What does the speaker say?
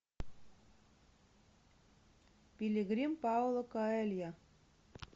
пилигрим пауло коэльо